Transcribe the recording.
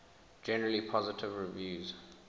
generally positive reviews